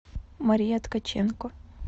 мария ткаченко